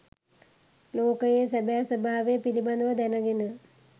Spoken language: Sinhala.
ලෝකයේ සැබෑ ස්වභාවය පිළිබඳව දැනගෙන